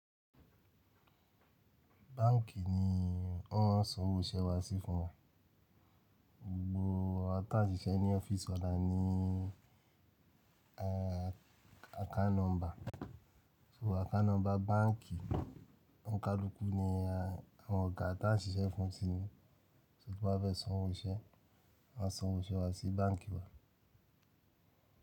Báǹkì ni wọ́n maa n sanwó iṣẹ́ wa sí fún wa. Gbogbo awa tà n ṣiṣẹ́ ní office wa la ni ẹ́, account number. So account number báǹkì ọnkalukú ni àwọn ọ̀gá ta ń ṣiṣẹ́ fún ti ní. Tí wọ́n bá fẹ́ san owó iṣẹ́, wọ́n san owó iṣẹ́ wa sí báǹkì wa.